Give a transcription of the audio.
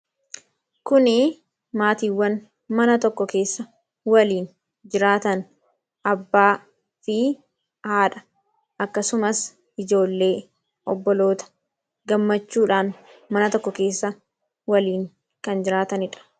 kuni maatiiwwan mana tokko keessa waliin jiraatan abbaa fi haadha akkasumas ijoollee obboloota gammachuudhaan mana tokko keessa waliin kan jiraatanidha